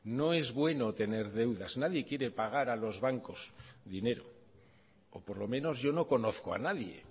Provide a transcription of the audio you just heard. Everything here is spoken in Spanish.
no es bueno tener deudas nadie quiere pagar a los bancos dinero o por lo menos yo no conozco a nadie